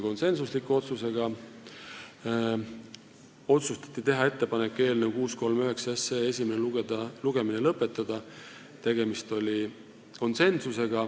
Otsustati teha ettepanek eelnõu 639 esimene lugemine lõpetada .